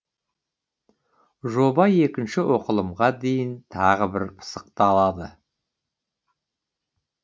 жоба екінші оқылымға дейін тағы бір пысықталады